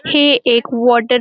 हे एक वॉटर --